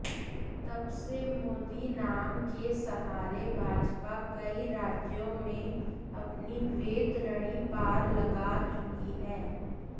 तबसे मोदी नाम के सहारे भाजपा कई राज्यों में अपनी वैतरणी पार लगा चुकी है